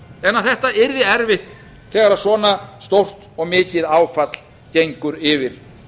en að þetta yrði erfitt þegar svona stórt og mikið áfall gengur yfir